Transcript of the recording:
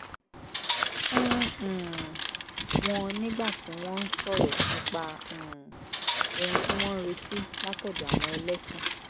fún um wọn nígbà tí wọ́n ń sọ̀rọ̀ nípa um ohun tí wọ́n ń retí látọ̀dọ̀ àwọn ẹlẹ́sìn